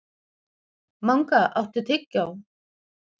Manga, áttu tyggjó?